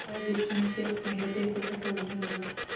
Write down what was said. वह विस्मय से अपने हृदय को टटोलने लगा